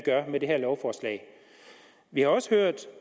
gør med det her lovforslag vi har også hørt